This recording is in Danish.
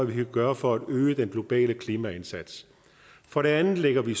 vi kan gøre for at øge den globale klimaindsats for det andet lægger vi